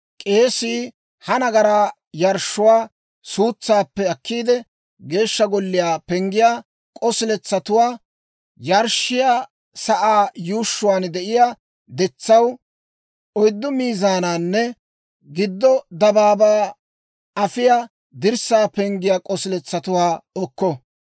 K'eesii ha nagaraa yarshshuwaa suutsaappe akkiide, Geeshsha Golliyaa penggiyaa k'osiletsatuwaa, yarshshiyaa sa'aa yuushshuwaan de'iyaa detsaw oyddu mizaanawunne giddo dabaabaa afiyaa dirssaa penggiyaa k'osiletsatuwaa okko.